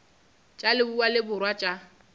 tša leboa le borwa tša